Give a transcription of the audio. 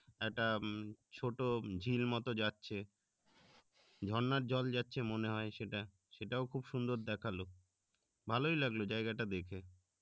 একটা উম ছোট ঝিল মতো যাচ্ছে ঝর্ণার জল যাচ্ছে মনে হয় সেটা সেটাও খুব সুন্দর দেখালো ভালোই লাগলো জায়গাটা দেখে